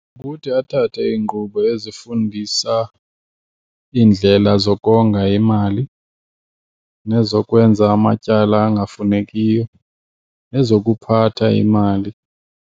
Kukuthi athathe iinkqubo ezifundisa iindlela zokonga imali nezokwenza amatyala angafunekiyo, nezokuphatha imali.